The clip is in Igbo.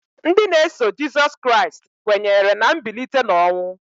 Ndị na-eso Jịsọs Kraịst kwenyere na mbilite n'ọnwụ.